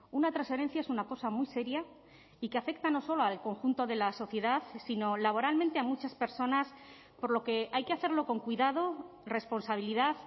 una transferencia es una cosa muy seria y que afecta no solo al conjunto de la sociedad sino laboralmente a muchas personas por lo que hay que hacerlo con cuidado responsabilidad